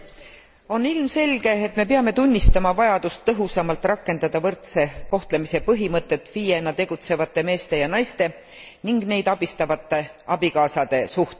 On ilmselge, et me peame tunnistama vajadust tõhusamalt rakendada võrdse kohtlemise põhimõtet FIEna tegutsevate meeste ja naiste ning neid abistavate abikaasade suhtes.